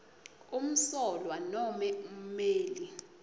umsolwa nome ummeli